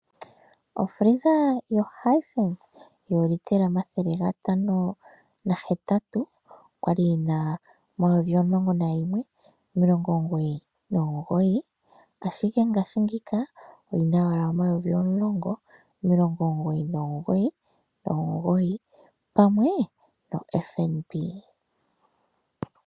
Ofiliza yoHisense yoolitela 508 oya li yi na N$ 11 999, ashike ngaashingeyi oyi na owala N$ 10 999, pamwe noFNB.